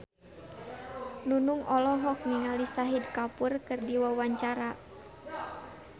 Nunung olohok ningali Shahid Kapoor keur diwawancara